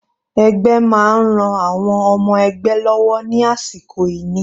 Ẹgbẹ́ máa ń ran àwọn ọmọ ẹgbẹ́ lọ́wọ́ ní àsìkò ìní.